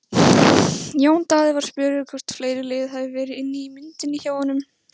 Jón Daði var spurður hvort fleiri lið hafi verið inni í myndinni hjá honum?